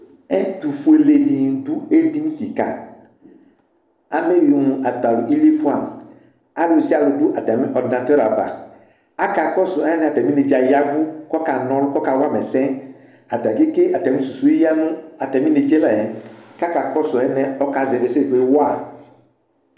Ɛtʋfue ɖɩnɩ ɖʋ eɖini ƙɩƙa, ameƴui mʋ ata lʋ iliefuǝAlʋsɩalʋ ɖʋ atamɩ ɔrɖɩnatʋr ava Aƙa ƙɔsʋ alɛnɛ ata mɩ neɖza ƴavʋ ƙʋ ɔƙa na ɔlʋ, ɔƙa wama ɛsɛAta ƙeƙe ata mɩ susu ƴǝ nʋ ata mɩ neɖzǝ layɛ; ƙʋ aƙa ƙɔsʋ alɛnɛ ƙ' ɔƙa zɛvɩ ɛsɛ wa